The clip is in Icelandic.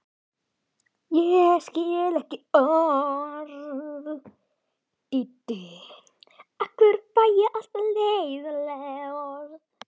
Fulltrúar tveggja tíma, brautryðjandinn og arftakinn.